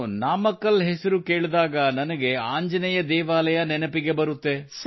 ನಾನು ನಾಮಕ್ಕಲ್ ಹೆಸರು ಕೇಳಿದಾಗ ನನಗೆ ಆಂಜನೇಯ ದೇವಾಲಯ ನೆನಪಿಗೆ ಬರುತ್ತದೆ